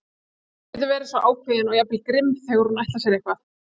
Hún getur verið svo ákveðin og jafnvel grimm þegar hún ætlar sér eitthvað.